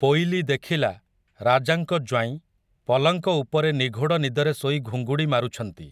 ପୋଇଲୀ ଦେଖିଲା, ରାଜାଙ୍କ ଜ୍ୱାଇଁ, ପଲଙ୍କ ଉପରେ ନିଘୋଡ଼ ନିଦରେ ଶୋଇ ଘୁଙ୍ଗୁଡ଼ି ମାରୁଛନ୍ତି ।